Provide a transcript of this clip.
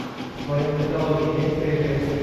в твоем каталоге есть триллер